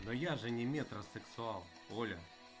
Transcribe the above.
но я же не метросексуал оля